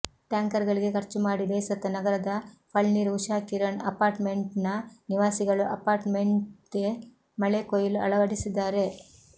ಟ್ಯಾಂಕರ್ಗಳಿಗೆ ಖರ್ಚು ಮಾಡಿ ಬೇಸತ್ತ ನಗರದ ಫಳ್ನೀರ್ ಉಷಾಕಿರಣ್ ಅಪಾರ್ಟ್ಮೆಂಟ್ ನ ನಿವಾಸಿಗಳು ಅಪಾರ್ಟ್ಮೆಂಟ್ಗೆ ಮಳೆಕೊಯ್ಲು ಅಳವಡಿಸಿದ್ದಾರೆ